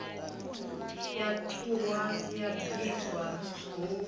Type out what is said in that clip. ya ṱhuhwa ya bikwa hu